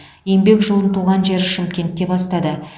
еңбек жолын туған жері шымкентте бастады